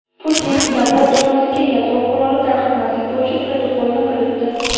Putin Davlat dumasiga yadro quroli tarqatmaslik bo‘yicha protokolni kiritdi.